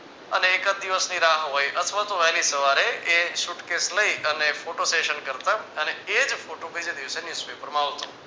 અને એકાદ દિવસની રાહ હોય અથવા તો વહેલી સવારે એ suitcase લઈ અને photo session કરતા અને એ જ photo બીજે દિવસે newspaper માં આવશે